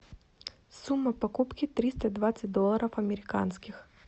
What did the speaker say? сумма покупки триста двадцать долларов американских